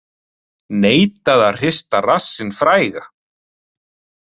Neitaði að hrista rassinn fræga